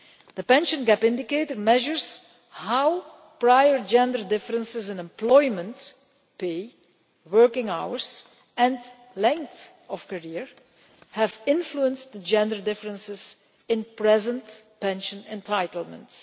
The pension gap indicator measures how prior gender differences in employment, pay, working hours and length of career have influenced the gender differences in current pension entitlements.